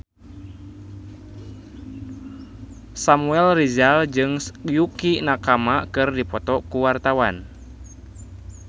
Samuel Rizal jeung Yukie Nakama keur dipoto ku wartawan